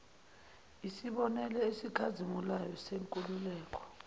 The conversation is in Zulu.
yisibonelo esikhazimulayo senkululeko